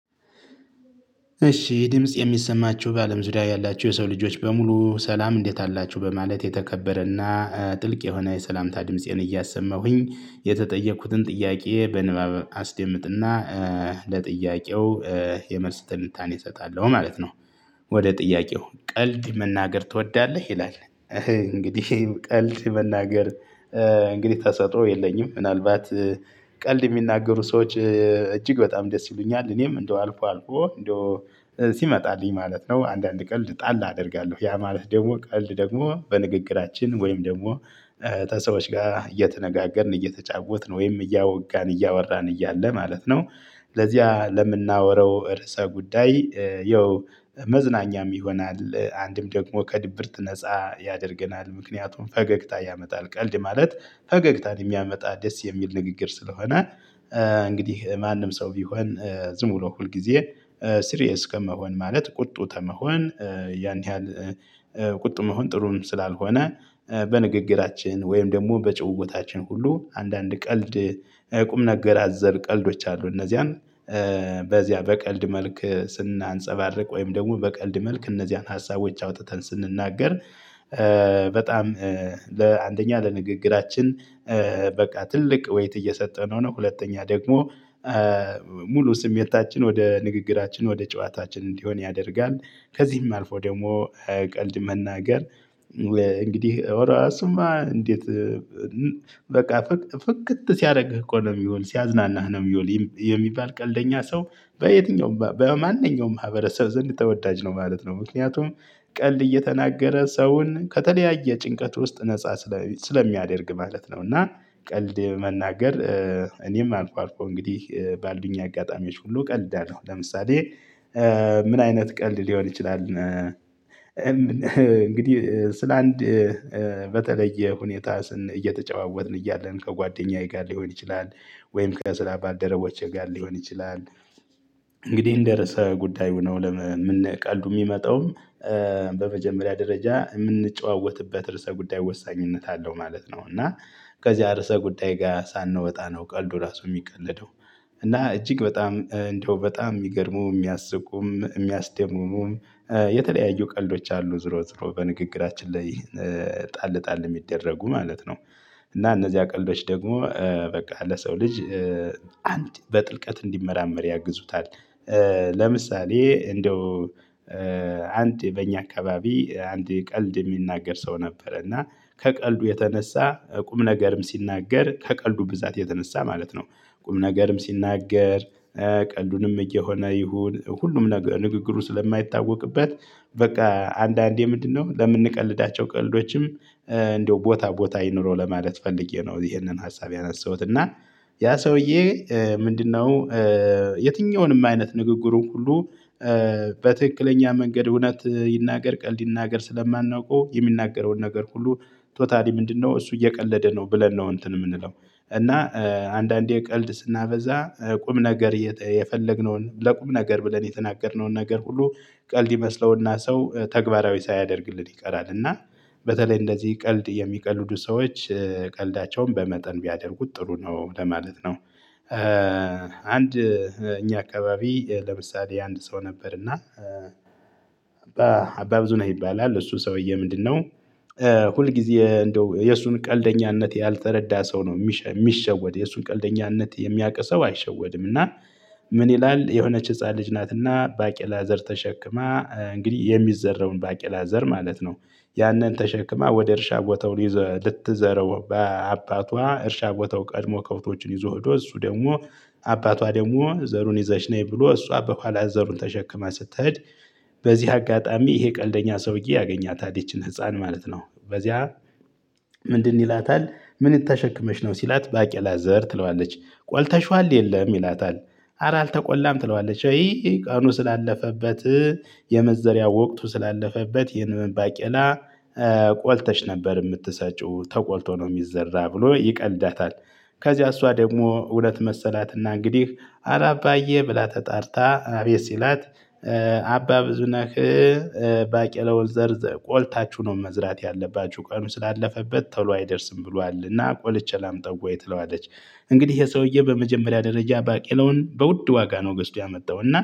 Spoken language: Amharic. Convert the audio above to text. እሺ ይህ ድምጽ የሚሰማችሁ በአለም ዙሪያ ያላችሁ የሰው ልጆች በሙሉ ሰላም እንዴት አላችሁ በማለት የተከበረና ጥልቅ የሆነ የሰላምታ ድምፄን እያሰማሁኝ የተጠየኩትን ጥያቄ በንባብ አስደምጥና ለጥያቄው የመልስ ትንታኔ እሰጣለሁ ማለት ነው። ወደ ጥያቄው ቀልድ መናገር ትወዳለህ ይላል? እንግዲህ ቀልድ መናገር እንግዲህ ተሰጥኦ የለኝም ምናልባት ቀልድ የሚናገሩ ሰዎች እጅግ በጣም ደስ ይሉኛል እኔም እንደው አልፎ አልፎ እንደው ሲመጣልኝ ማለት ነው። አንዳንድ ቀልድ ጣል አደርጋለሁ ያ ማለት ደግሞ ቀልድ ደግሞ በንግግራችን ወይም ደግሞ ተሰዎች ጋር እየተነጋገርን እየተጫወትን ወይም እያወጋን እያወራን እያለ ማለት ነው። ለዚያ ለምናወራው እርእሰ ጉዳይ ያው መዝናኛም ይሆናል አንድም ደግሞ ከድብርት ነፃ ያደርገናል። ምክንያቱም ፈገግታ ያመጣል ቀልድ ማለት ፈገግታን የሚያመጣ ደስ የሚል ንግግር ስለሆነ። እንግዲህ ማንም ሰው ቢሆን ዝም ብሎ ሁል ጊዜ ስሪየስ ከመሆን ማለት ቁጡ ተመሆን ያን ያህል ቁጡ መሆን ጥሩም ስላልሆነ። በንግግራችን ወይም ደግሞ በጭውውታችን ሁሉ አንዳንድ ቀልድ ቁም ነገር አዘር ቀልዶች አሉ። እነዚያን በዚያ በቀልድ መልክ ስናንፀባርቅ ወይም ደግሞ በቀልድ መልክ እነዚያን ሀሳቦች አውጥተን ስንናገር። በጣም ለአንደኛ ለንግግራችን በቃ ትልቅ ወይት እየሰጠነው ነው። ሁለተኛ ደግሞ ሙሉ ስሜታችን ወደ ንግግራችን ወደ ጨዋታችን እንዲሆን ያደርጋል። ከዚህም አልፎ ደግሞ ቀልድ መናገር እንግዲህ እሱማ እንዴት በቃ ፍክት ሲያደርግህ እኮ ነው የሚውል ሲያዝናናህ ነው የሚውል የሚባል ቀልደኛ ሰው በየትኛውም በማንኛውም ማህበረሰብ ዘንድ ተወዳጅ ነው ማለት ነው። ምክንያቱም ቀልድ እየተናገረ ሰውን ከተለያየ ጭንቀት ውስጥ ነፃ ስለሚያደርግ ማለት ነው። እና ቀልድ መናገር እኔም አልፎ አልፎ እንግዲህ ባሉኝ አጋጣሚዎች ሁሉ እቀልዳለሁ። ለምሳሌ ምን አይነት ቀልድ ሊሆን ይችላል? እንግዲህ ስለ አንድ በተለየ ሁኔታ ስን እየተጨዋወትን እያለን ከጓደኛዬ ጋር ሊሆን ይችላል ወይም ከስራ ባልደረቦቼ ጋር ሊሆን ይችላል እንግዲህ እንደርሰ ጉዳዩ ነው። ቀልዱ ሚመጣውም ደረጃ እምንጨዋወትበት ርዕሰ ጉዳይ ወሳኝነት አለው ማለት ነው። እና ከዚያ ርዕሰ ጉዳይ ጋ ሳንወጣ ነው ቀልዱ ራሱ የሚቀለደው። እና እጅግ በጣም እንደው በጣም የሚገርሙ የሚያስቁም የሚያስደሙሙም የተለያዩ ቀልዶች አሉ። ዝሮ ዝሮ በንግግራችን ላይ ጣል ጣል ሚደረጉ ማለት ነው። እና እነዚያ ቀልዶች ደግሞ በቃ ለሰው ልጅ አንድ በጥልቀት እንዲመራመር ያግዙታል። ለምሳሌ እንደው አንድ በእኛ አካባቢ አንድ ቀልድ የሚናገር ሰው ነበረ። እና ከቀልዱ የተነሳ ቁም ነገርም ሲናገር ከቀልዱ ብዛት የተነሳ ማለት ነው። ቁም ነገርም ሲናገር ቀልዱንም እየሆነ ይሁን ሁሉም ንግግሩ ስለማይታወቅበት። በቃ አንዳንዴ ምንድነው ለምንቀልዳቸው ቀልዶችም ቦታ ቦታ ይኖረው ለማለት ፈልጌ ነው። ይሄንን ሀሳብ ያነሳሁት እና ያ ሰውዬ ምንድነው? የትኛውንም አይነት ንግግሩን ሁሉ በትክክለኛ መንገድ እውነት ይናገር ቀልድ ይናገር ስለማናውቀው የሚናገረውን ነገር ሁሉ ቶታሊ ምንድነው እሱ እየቀለደ ነው ብለን ነው እንትን የምንለው። እና አንዳንዴ ቀልድ ስናበዛ ቁም ነገር የፈለግነውን ለቁም ነገር ብለን የተናገርነውን ነገር ሁሉ ቀልድ ይመስለውና ሰው ተግባራዊ ሳያደርግልን ይቀራል። እና በተለይ እንደዚህ ቀልድ የሚቀልዱ ሰዎች ቀልዳቸውን በመጠን ቢያደርጉት ጥሩ ነው። ለማለት ነው። አንድ እኛ አካባቢ ለምሳሌ አንድ ሰው ነበር እና አባ ብዙ ነህ ይባላል። እሱ ሰውዬ ምንድነው? ሁል ጊዜ እንደው የእሱን ቀልደኛነት ያልተረዳ ሰው ነው ሚሸወድ የእሱን ቀልደኝነት የሚያውቅ ሰው አይሸወድም። እና ምን ይላል የሆነች ህፃን ልጅ ናትና ባቄላ ዘር ተሸክማ እንግዲህ የሚዘራውን ባቄላ ዘር ማለት ነው። ያንን ተሸክማ ወደ እርሻ ቦታው ይ ልትዘረው በአባቷ እርሻ ቦታው ቀድሞ ከውቶችን ይዞ ሄዶ እሱ ደግሞ አባቷ ደግሞ ዘሩን ይዘሽ ነኝ ብሎ እሷ በኋላ ዘሩን ተሸክማ ስትኸድ። በዚህ አጋጣሚ ይሄ ቀልደኛ ሰውዬ ያገኛታል ይቺን ህፃን ማለት ነው። በዚያ ምንድን ይላታል። ምን ተሸክመሽ ነው? ሲላት ባቄላ ዘር ትለዋለች። ቆልተሽዋል የለም ይላታል? አረ አልተቆላም ትለዋለች። ወይ ቀኑ ስላለፈበት የመዘሪያ? ወቅቱ ስላለፈበት ይህንን ባቄላ ቆልተሽ ነበር ምትሰጪው ተቆልቶ ነው የሚዘራ ብሎ ይቀልዳታል። ከዚህ እሷ ደግሞ እውነት መሰላትና እንግዲህ እረ አባዬ ብላ ተጣርታ አቤት ሲላት። አባ ብዙነህ። ባቄለውን ዘርዘር ቆልታችሁ ነው መዝራት ያለባችሁ ቀኑ ስላለፈበት ቶሎ አይደርስም ብሏል። እና ቆልቼ ላምጠው ወይ ትለዋለች? እንግዲህ የሰውዬ በመጀመሪያ ደረጃ ባቄለውን በውድ ዋጋ ነው ገዝቶ ያመጣው እና